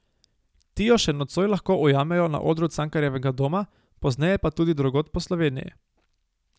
Ti jo še nocoj lahko ujamejo na odru Cankarjevega doma, pozneje pa tudi drugod po Sloveniji.